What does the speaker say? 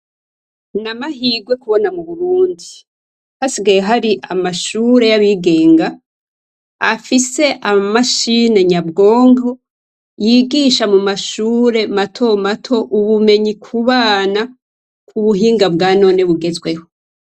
Namahigwe kubona mu Burundi hasigaye hari amashuri yabigenga afise amamashini nyabwonko yigisha mumashuri mato mato ubumenyi kubana ubuhinga bwanone bugezweho.